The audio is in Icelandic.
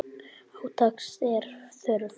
Átaks er þörf.